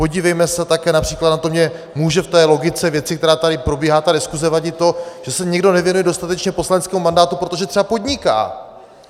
Podívejme se také například na to, že může v té logice věci, která tady probíhá, ta diskuze, vadit to, že se někdo nevěnuje dostatečně poslaneckému mandátu, protože třeba podniká.